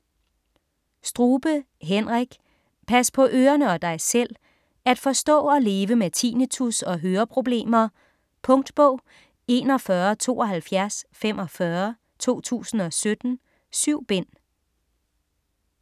Strube, Henrik: Pas på ørerne og dig selv: at forstå og leve med tinnitus og høreproblemer Punktbog 417245 2017. 7 bind.